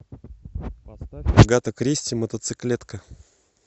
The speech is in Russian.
поставь агата кристи мотоциклетка